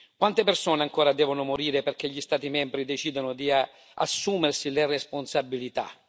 Quante persone ancora devono morire perché gli Stati membri decidano di assumersi le responsabilità?